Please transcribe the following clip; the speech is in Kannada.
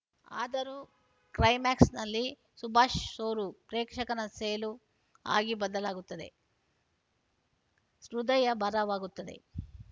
ಆದರೂ ಕ್ಲೈಮ್ಯಾಕ್ಸ್‌ನಲ್ಲಿ ಸುಭಾಷ್‌ ಸೋರು ಪ್ರೇಕ್ಷಕನ ಸೇಲೂ ಆಗಿ ಬದಲಾಗುತ್ತದೆ ಹೃದಯ ಭಾರವಾಗುತ್ತದೆ